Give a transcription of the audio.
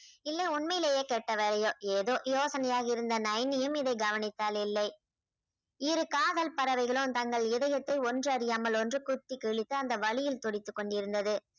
இல்லை உண்மையிலேயே கெட்ட வேலையோ ஏதோ யோசனையாக இருந்த நைன்னியும் இதை கவனித்தாள் இல்லை இரு காதல் பறவைகளும் தங்கள் இதயத்தை ஒன்றறியாமல் ஒன்று குத்தி கிழித்து அந்த வலியில் துடித்துக் கொண்டிருந்தது